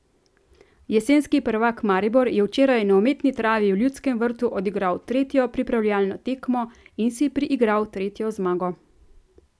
Jesenski prvak Maribor je včeraj na umetni travi v Ljudskem vrtu odigral tretjo pripravljalno tekmo in si priigral tretjo zmago.